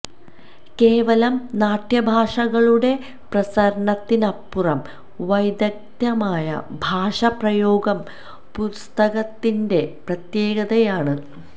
കേവലം നാട്യഭാഷകളുടെ പ്രസരണത്തിനപ്പുറം വൈദഗ്ധ്യമായ ഭാഷാ പ്രയോഗം പുസ്തകത്തിന്റെ പ്രത്യേകതയാണ്